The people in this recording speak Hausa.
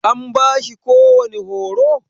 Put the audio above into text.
An bashi kowani horo?